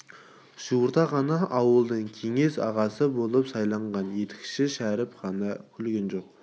жуырда ғана ауылдық кеңес ағасы болып сайланған етікші шәріп қана күлген жоқ